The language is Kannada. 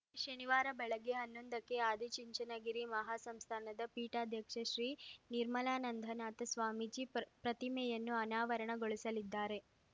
ಶನಿವಾರ ಬೆಳಗ್ಗೆ ಹನ್ನೊಂದಕ್ಕೆ ಆದಿಚುಂಚನಗಿರಿ ಮಹಾ ಸಂಸ್ಥಾನದ ಪೀಠಾಧ್ಯಕ್ಷ ಶ್ರೀ ನಿರ್ಮಲಾನಂದನಾಥ ಸ್ವಾಮೀಜಿ ಪ್ರಪ್ರತಿಮೆಯನ್ನು ಅನಾವರಣ ಗೊಳಿಸಲಿದ್ದಾರೆ